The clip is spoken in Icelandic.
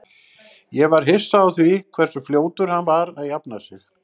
Ég var hissa á því hversu fljótur hann var að jafna sig.